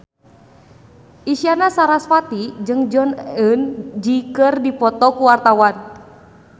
Isyana Sarasvati jeung Jong Eun Ji keur dipoto ku wartawan